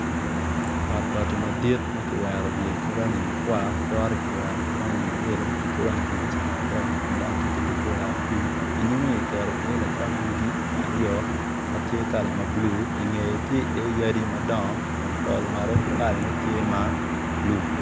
Ot bati madit ma kiwero wiye ki rangi makwar kore ki wero ma yelo tye ki wang dirica ma adek dok tye ki doggola abic nyime ki keto iye lacok yugi aryo ma tye kala ma bulu i ngeye tye yadi madongo i pol malo tye kala ma bulu.